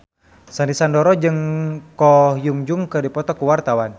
Sandy Sandoro jeung Ko Hyun Jung keur dipoto ku wartawan